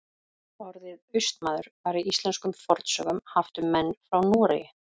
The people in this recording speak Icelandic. Orðið Austmaður var í íslenskum fornsögum haft um menn frá Noregi.